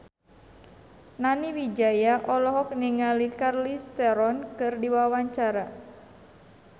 Nani Wijaya olohok ningali Charlize Theron keur diwawancara